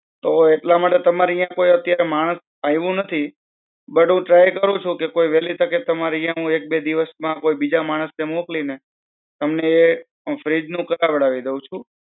તો એટલા માટે તમારે યાં કોઈ અત્યારે માણસ આયેવું નથી. બટ હું try કરું છું કે કોઈ વેલી તકે તમારે યાં એક બે દિવસ માં કોઈ બીજા માણસ ને મોકલીને, તમને~ fridge નું કરાવી દેઉ છું.